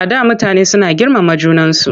Before people were so respectful of one another.